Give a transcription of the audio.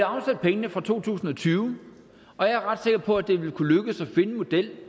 afsat pengene fra to tusind og tyve og jeg er ret sikker på at det vil kunne lykkes at finde en model